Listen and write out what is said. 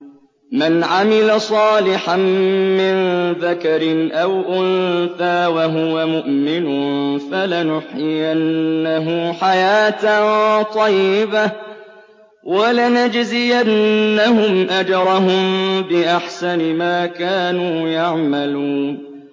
مَنْ عَمِلَ صَالِحًا مِّن ذَكَرٍ أَوْ أُنثَىٰ وَهُوَ مُؤْمِنٌ فَلَنُحْيِيَنَّهُ حَيَاةً طَيِّبَةً ۖ وَلَنَجْزِيَنَّهُمْ أَجْرَهُم بِأَحْسَنِ مَا كَانُوا يَعْمَلُونَ